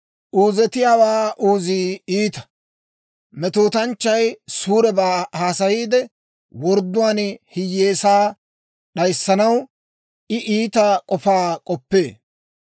Uuzetiyaawaa uuzii iita; metootanchchay suurebaa haasayiide, wordduwaan hiyyeesaa d'ayissanaw I iita k'ofaa k'oppee.